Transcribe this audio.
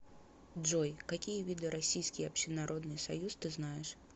джой какие виды российский общенародный союз ты знаешь